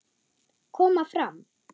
Koma fram!